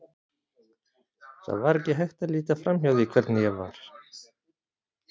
Það var ekki hægt að líta framhjá því hvernig ég var.